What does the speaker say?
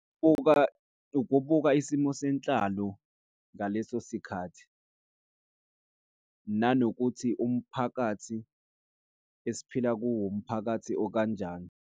Ukubuka isimo senhlalo ngaleso sikhathi, nanokuthi umphakathi esiphila kuwo, umphakathi okanjani.